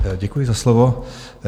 Děkuji za slovo.